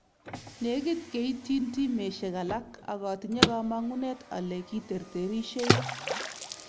Negit keityintimisyek alaak ak atinye kamong'unet ale kiterterisyei